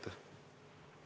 Vabandust!